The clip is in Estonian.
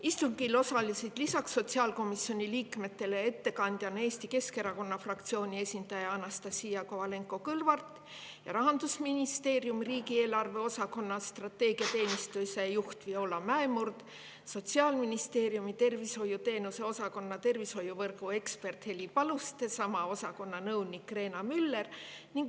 Istungil osalesid lisaks sotsiaalkomisjoni liikmetele ettekandjana Eesti Keskerakonna fraktsiooni esindaja Anastassia Kovalenko-Kõlvart ning Rahandusministeeriumi riigieelarve osakonna strateegiateenistuse juhataja Viola Mäemurd, Sotsiaalministeeriumi tervishoiuteenuste osakonna tervishoiuvõrgu ekspert Heli Paluste ja sama osakonna nõunik Reena Müller.